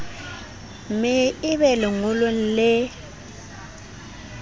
me e be lengolong le